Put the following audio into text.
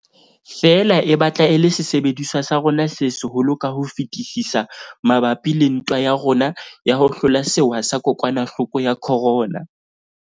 Feela e batla e le sesebediswa sa rona se seholo ka ho fetisisa mabapi le ntwa ya rona ya ho hlola sewa sa kokwanahloko ya corona.